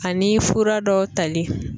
Ani fura dɔw tali.